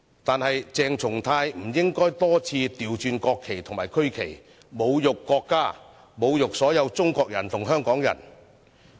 然而，鄭松泰議員不應該多次倒轉國旗及區旗，侮辱國家、侮辱所有中國人和香港人。